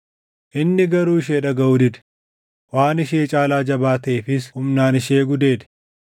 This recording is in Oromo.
Inni garuu ishee dhagaʼuu dide; waan ishee caalaa jabaa taʼeefis humnaan ishee gudeede.